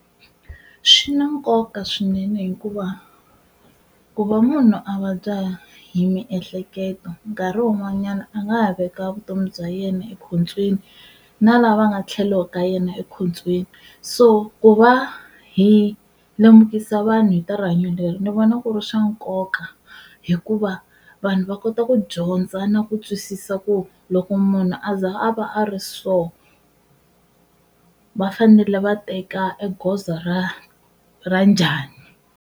Swi na nkoka swinene hikuva ku va munhu a vabya hi miehleketo nkarhi wun'wanyana a nga ha veka vutomi bya yena ekhotsweni na lava nga tlhelo ka yena ekhotsweni. So ku va hi lemukisa vanhu hi ta rihanyo leri ni vona ku ri swa nkoka hikuva vanhu va kota ku dyondza na ku twisisa ku loko munhu a za a va a ri so va fanele va teka e goza ra ra njhani.